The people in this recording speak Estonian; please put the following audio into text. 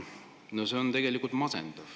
No see on tegelikult masendav.